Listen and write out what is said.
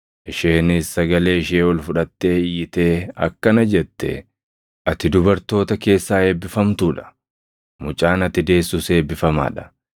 Isheenis sagalee ishee ol fudhattee iyyitee akkana jette; “Ati dubartoota keessaa eebbifamtuu dha; mucaan ati deessus eebbifamaa dha.